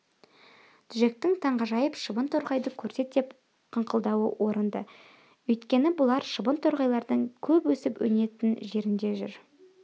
джектің таңғажайып шыбын-торғайды көрсет деп қыңқылдауы орынды еді өйткені бұлар шыбын-торғайлардың көп өсіп-өнетін жерінде жүр